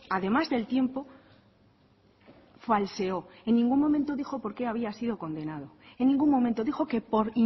además del tiempo falseó en ningún momento dijo porqué había sido condenado en ningún momento dijo que por